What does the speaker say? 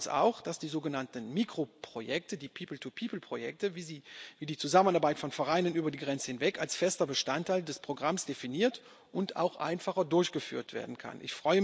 Wichtig war uns auch, dass die sogenannten Mikroprojekte, die People to people Projekte, wie die Zusammenarbeit von Vereinen über die Grenze hinweg, als fester Bestandteil des Programms definiert und auch einfacher durchgeführt werden können.